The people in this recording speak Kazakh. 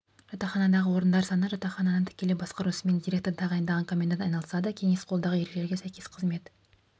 жатақханадағы орындар саны жатақхананы тікелей басқару ісімен директор тағайындаған комендант айналысады кеңес қолдағы ережелерге сәйкес қызмет